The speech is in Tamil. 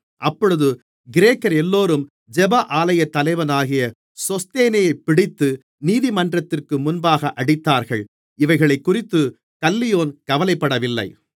அப்பொழுது கிரேக்கரெல்லோரும் ஜெப ஆலயத்தலைவனாகிய சொஸ்தேனேயைப் பிடித்து நீதிமன்றத்திற்கு முன்பாக அடித்தார்கள் இவைகளைக்குறித்துக் கல்லியோன் கவலைப்படவில்லை